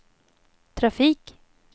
trafik